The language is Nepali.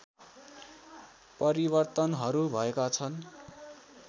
परिवर्तनहरू भएका छन्